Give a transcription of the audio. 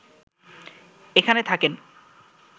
এখানে থাকেন